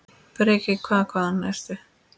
Breki: Hvað, hvaðan ertu?